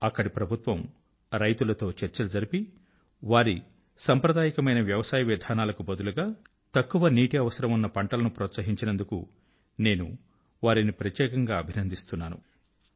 అక్కడి ప్రభుత్వం రైతుల తో చర్చలు జరిపి వారి సాంప్రదాయకమైన వ్యవసాయ విధానాలకు బదులుగా తక్కువ నీటి అవసరం ఉన్న పంటల ను ప్రోత్సహించినందుకు నేను వారిని ప్రత్యేకంగా అభినందిస్తాను